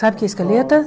Sabe o que é escaleta?